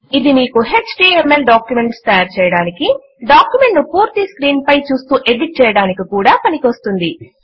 ఇది మీకు HTMLడాక్యుమెంట్స్ తయారుచేయడానికీ డాక్యుమెంట్ ను పూర్తి స్క్రీన్ పై చూస్తూ ఎడిట్ చేయడానికి కూడా పనికొస్తుంది